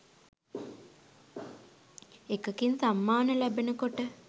එකකින් සම්මාන ලැබෙන කොට